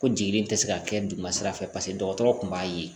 Ko jeli in tɛ se ka kɛ duguma sira fɛ paseke dɔgɔtɔrɔ kun b'a ye